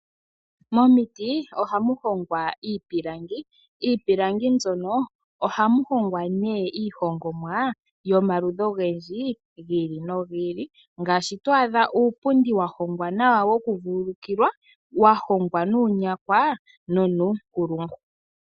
Momiti ohamu hongwa iipilangi. Miipilangi mbyono ohamu hongwa nee iihongomwa yomaludhi ogendji, gi ili nogi ili ngaashi to adha uupundi wa hongwa uuwanawa woku vululukilwa, wa hongwa nuunyakwa nonuunkulungu.